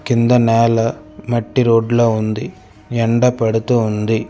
కింద నేల మట్టి రోడ్ లా ఉంది ఎండ పడుతూ ఉంది.